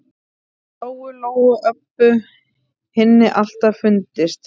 Lóu-Lóu og Öbbu hinni alltaf fundist.